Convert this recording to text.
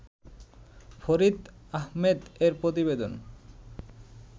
ফরিদ আহমেদ এর প্রতিবেদন